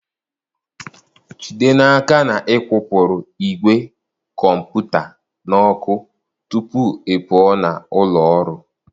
Jide n'aka na ị kwụpụrụ ìgwè kọmputa n'ọkụ tupu ị pụọ na ụlọ ọrụ.